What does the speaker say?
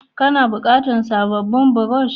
Kana bukatan sabobin buroshi?